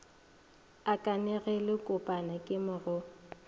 a kanegelokopana ke mo go